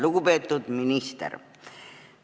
Lugupeetud minister!